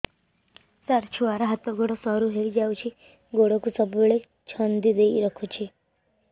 ସାର ଛୁଆର ହାତ ଗୋଡ ସରୁ ହେଇ ଯାଉଛି ଗୋଡ କୁ ସବୁବେଳେ ଛନ୍ଦିଦେଇ ରଖୁଛି